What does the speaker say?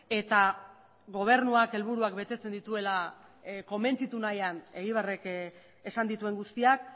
eta gobernuak helburuak betetzen dituela konbentzitu nahian egibarrek esan dituen guztiak